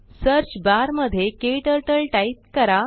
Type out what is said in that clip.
search bar मध्ये क्टर्टल type करा